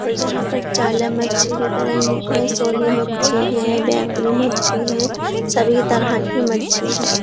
और जहाँ पर चाला मच्छी बिक रही हैं सोली मच्छी है बेकड़ी मच्छी है सभी तरह की मच्छी हैं।